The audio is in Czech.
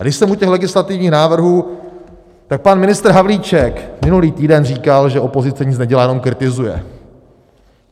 A když jsem u těch legislativních návrhů, tak pan ministr Havlíček minulý týden říkal, že opozice nic nedělá, jenom kritizuje.